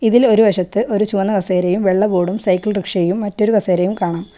ഇതിൽ ഒരു വശത്ത് ഒരു ചുവന്ന കസേരയും വെള്ള ബോർഡും സൈക്കിൾ റിക്ഷയും മറ്റൊരു കസേരയും കാണാം.